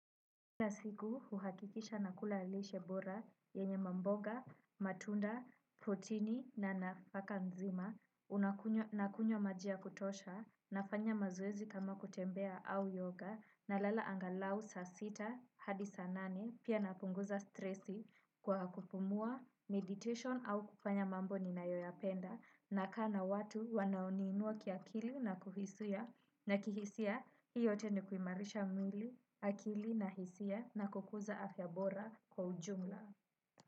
Kila siku huhakikisha nakula lishe bora, yenye mamboga, matunda, protini na nafaka nzima, unakunywa nakunywa maji ya kutosha, nafanya mazoezi kama kutembea au yoga, nalala angalau saa sita, hadi saa nane, pia napunguza stresi kwa kupumua, meditation au kufanya mambo ninayoyapenda, nakaa na watu wanaoniinua kiakili na kuhisia, na kihisia, hii yote ni kuimarisha mwili, akili na hisia. Na kukuza afya bora kwa ujumla.